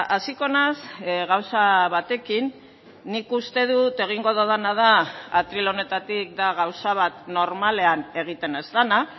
hasiko naiz gauza batekin nik uste dut egingo dudana da atril honetatik da gauza bat normalean egiten ez dena